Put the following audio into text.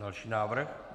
Další návrh.